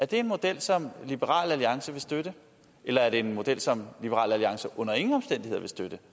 det en model som liberal alliance vil støtte eller er det en model som liberal alliance under ingen omstændigheder vil støtte